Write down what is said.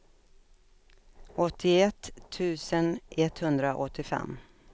åttioett tusen etthundraåttiofem